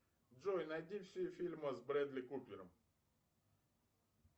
джой найди все фильмы с брэдли купером